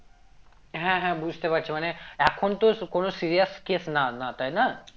হ্যাঁ হ্যাঁ বুঝতে পারছি মানে এখন তো কোনো serious case না না তাই না